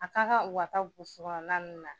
A ka kan u ka taa burusi kɔnɔna ninnu